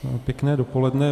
Pěkné dopoledne.